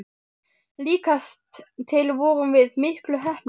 Líkast til vorum við miklu heppnari.